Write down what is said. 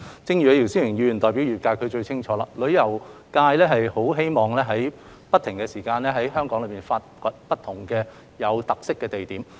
正如姚思榮議員代表旅遊界，他應該最清楚，旅遊界很希望能夠不斷在香港發掘不同的具特色景點。